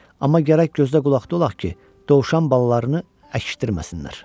Amma gərək gözlə qulaqda olaq ki, dovşan balalarını əkişdirməsinlər.